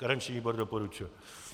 Garanční výbor doporučuje.